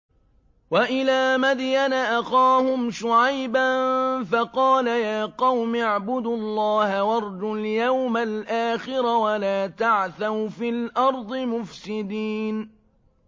وَإِلَىٰ مَدْيَنَ أَخَاهُمْ شُعَيْبًا فَقَالَ يَا قَوْمِ اعْبُدُوا اللَّهَ وَارْجُوا الْيَوْمَ الْآخِرَ وَلَا تَعْثَوْا فِي الْأَرْضِ مُفْسِدِينَ